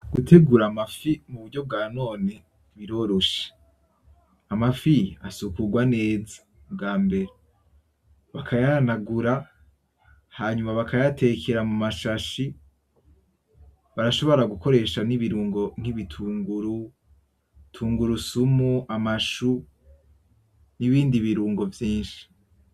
Gutegura amafi mu buryo bwa none biroroshe. Amafi asukurwa neza ubwambere, bakayahanagura hanyuma bakayatekera muma shashi barashobora gukoresha nibirungo nk'ibitunguru, tunguru sumu, amashu, n'ibindi birungo vyinshi.